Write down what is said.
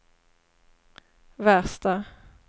värsta